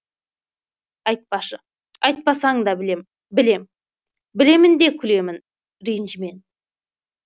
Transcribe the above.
айтпашы айтпасаң да білем білем білемін де күлемін ренжімен